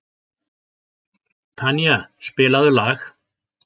Tanía, spilaðu lag.